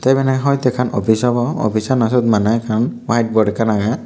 eben eh hoite ekkkan offis obow offissano siyot maney ekkan white bot ekkan agey.